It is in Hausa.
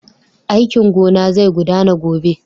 Aikin gona zai gudana gobe.